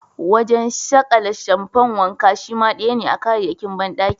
Wajen sakale shamfan wanka shima daya ne a kayayyakin bandaki.